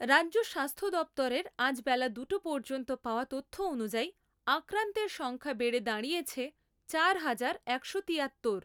রাজ্য স্বাস্থ্য দপ্তরের আজ বেলা দুটো পর্যন্ত পাওয়া তথ্য অনুযায়ী আক্রান্তের সংখ্যা বেড়ে দঁড়িয়েছে চার হাজার একশো তিয়াত্তর।